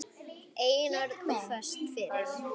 Einörð og föst fyrir.